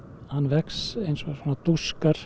hann vex eins og svona